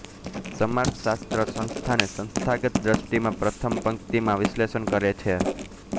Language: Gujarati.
સમાજશાસ્ત્ર સંસ્થાને સંસ્થાગત દ્રષ્ટિમાં પ્રથમ પંક્તિમાં વિશ્લેષણ કરે છે